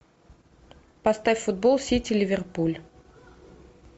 поставь футбол сити ливерпуль